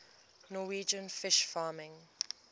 norwegian fish farming